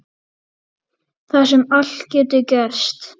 Þar sem allt getur gerst.